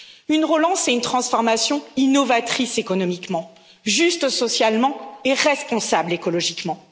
Une relance est une transformation innovatrice économiquement, juste socialement et responsable écologiquement.